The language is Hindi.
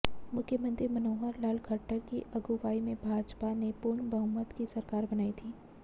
मुख्यमंत्री मनोहर लाल खट्टर की अगुवाई में भाजपा ने पूर्ण बहुमत की सरकार बनाई थी